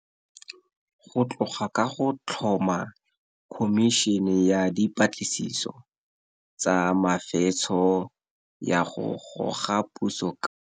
Go tloga ka go tlhoma Khomišene ya Dipatlisiso tsa Mefetsho ya go Goga Puso ka.